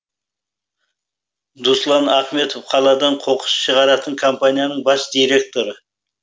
дуслан ахметов қаладан қоқыс шығаратын компанияның бас директоры